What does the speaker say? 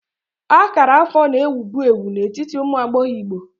Akara afọ na ewubu ewu n'etiti ụmụ agbọghọ Igbo.